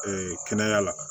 kɛnɛya la